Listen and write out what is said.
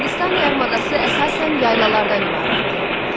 Hindistan yarımadası əsasən yaylalardan ibarətdir.